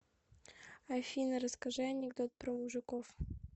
афина расскажи анекдот про мужиков